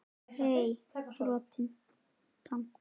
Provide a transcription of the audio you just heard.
Hey þrotna.